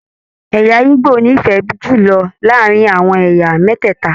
Ẹ̀yà ìgbò n'ifẹ jùlọ láàrin àwọn ẹ̀yà mẹtẹta.